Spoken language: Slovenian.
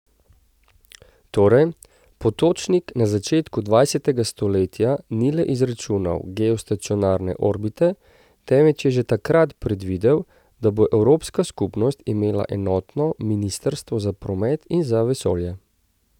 Torej, Potočnik na začetku dvajsetega stoletja ni le izračunal geostacionarne orbite, temveč je že takrat predvidel, da bo Evropska skupnost imela enotno ministrstvo za promet in za vesolje.